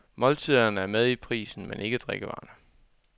Måltiderne er med i prisen, men ikke drikkevarerne.